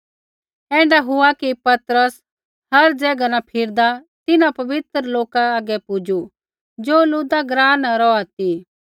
ऐण्ढा हुआ कि पतरस हर ज़ैगा न फिरदा तिन्हां पवित्र लोका हागै पुजू ज़ो लुद्दा ग्राँ न रौहा ती